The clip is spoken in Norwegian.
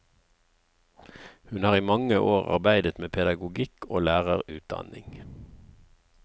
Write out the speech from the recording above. Hun har i mange år arbeidet med pedagogikk og lærerutdanning.